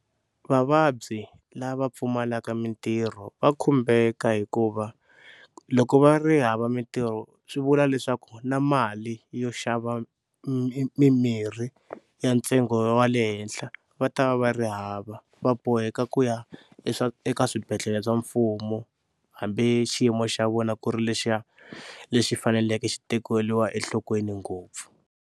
Vavabyi lava pfumalaka mintirho va khumbeka hikuva loko va ri hava mintirho swi vula leswaku na mali yo xava mimirhi ya ntsengo wa le henhla va ta va va ri hava, va boheka ku ya eka swibedhlele swa mfumo hambi xiyimo xa vona ku ri lexiya lexi faneleke xi tekeriwa enhlokweni ngopfu.